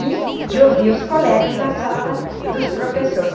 e de ouvir os colegas na sala dos professores.